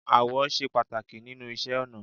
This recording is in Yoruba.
Ààwọ̀ ṣe pàtàkì nínú iṣẹ́ ọnà